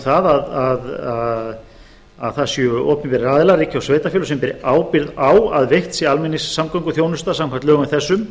það að það séu opinberir aðilar ríki og sveitarfélög sem beri ábyrgð á að veitt sé almenningssamgönguþjónusta samkvæmt lögum þessum